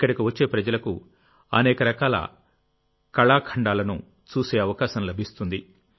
ఇక్కడికి వచ్చే ప్రజలకు అనేక రకాల కళాఖండాలను చూసే అవకాశం లభిస్తుంది